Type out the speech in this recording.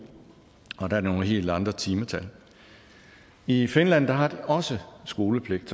og der er nogle helt andre timetal i finland har de også skolepligt